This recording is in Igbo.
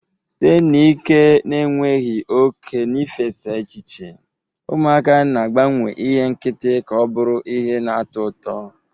Site n'ike na-enweghị oke na ifesa echiche, ụmụaka na-agbanwe ihe nkịtị ka ọ bụrụ ihe na-atọ ụtọ